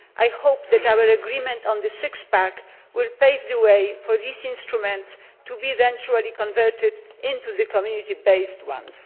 I hope that our agreement on the six pack will pave the way for these instruments to be eventually converted into the Community based ones.